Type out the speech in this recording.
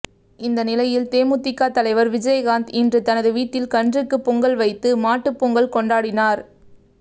இந்த நிலையில் தேமுதிக தலைவர் விஜயகாந்த் இன்று தனது வீட்டில் கன்றுக்கு பொங்கல் வைத்து மாட்டுப்பொங்கல் கொண்டாடினார்